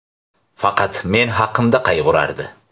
Faqat men haqimda qayg‘urardi.